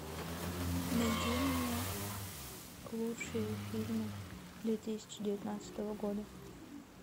найди мне лучшие фильмы две тысячи девятнадцатого года